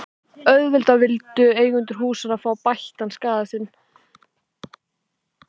Auðvitað vildu eigendur húsanna fá bættan skaða sinn.